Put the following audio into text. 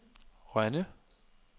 Rønne